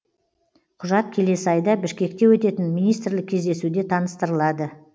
құжат келесі айда бішкекте өтетін министрлік кездесуде таныстырылады